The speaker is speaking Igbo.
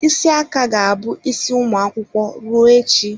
Isi aka ga-abụ isi ụmụ akwụkwọ ruo echi.